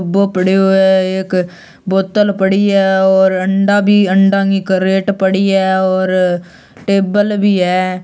वो पड्यो ऐ एक अ बोतल पड़ी है अंडा भी अंडा की क्रेट पड़ी है और टेबल बी है।